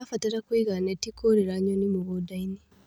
Tũrabatara kũiga neti kũriĩra nyoni mũgũndainĩ.